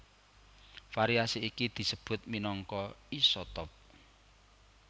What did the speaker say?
Variasi iki disebut minangka isotop